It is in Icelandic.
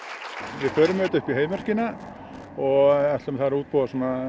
við förum með þetta upp í Heiðmörki og ætlum þar að útbúa